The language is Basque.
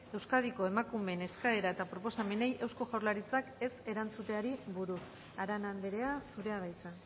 euskadiko emakumeen eskaera eta proposamenei eusko jaurlaritzak ez erantzuteari buruz arana andrea zurea da hitza